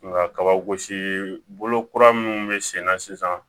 Nka kaba gosi bolo kura minnu bɛ senna sisan